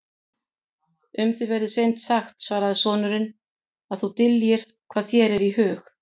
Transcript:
Um þig verður seint sagt, svaraði sonurinn,-að þú dyljir hvað þér er í hug.